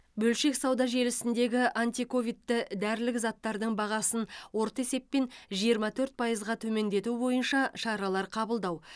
бөлшек сауда желісінде антиковидті дәрілік заттардың бағасын орта есеппен жиырма төрт пайызға төмендету бойынша шаралар қабылдау